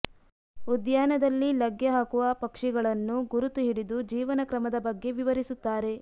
ಉದ್ಯಾನದಲ್ಲಿ ಲಗ್ಗೆ ಹಾಕುವ ಪಕ್ಷಿಗಳನ್ನು ಗುರುತು ಹಿಡಿದು ಜೀವನ ಕ್ರಮದ ಬಗ್ಗೆ ವಿವರಿಸುತ್ತಾರೆ